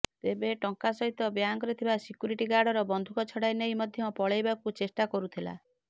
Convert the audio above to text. ତେବେ ଟଙ୍କା ସହିତ ବ୍ୟାଙ୍କରେ ଥିବା ସିକ୍ୟୁରିଟି ଗାର୍ଡର ବନ୍ଧୁକ ଛଡାଇ ନେଇ ମଧ୍ୟ ପଳେଇବାକୁ ଚେଷ୍ଟା କରୁଥିଲା